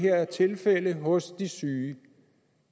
tilfælde her hos de syge